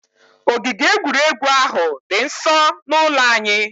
Ogige egwuregwu ahụ dị nsọ n'ụlọ anyị